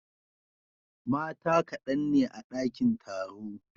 Mata kadan ne a dakin taro.